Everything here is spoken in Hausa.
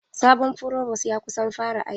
Sabon frovos ya kusan fara aiki.